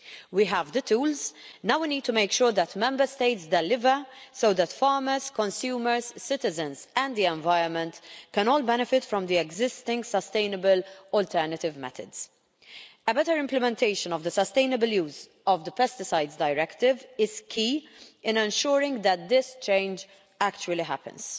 We have the tools. Now we need to make sure that Member States deliver, so that farmers, consumers, citizens and the environment, can all benefit from the existing sustainable alternative methods. A better implementation of the Sustainable Use of Pesticides Directive is key in ensuring that this change actually happens.